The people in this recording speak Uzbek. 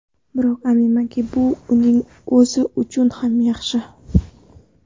Biroq aminmanki, bu uning o‘zi uchun ham yaxshi.